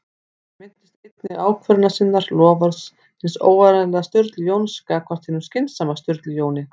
Hann minnist einnig ákvörðunar sinnar- loforðs hins óáreiðanlega Sturlu Jóns gagnvart hinum skynsama Sturlu Jóni